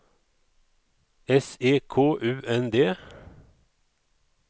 S E K U N D